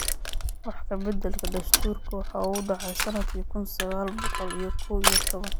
Wax ka beddelka dastuurka waxa uu dhacay sannadkii kun iyo sagaal boqol iyo kow iyo toban.